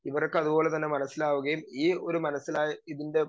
speaker 2 ഇവർക്കതുപോലെ തന്നെ മനസ്സിലാവുകയും ഈ ഒരു മനസ്സിലായ ഇതിന്റെ